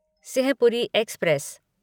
Simhapuri express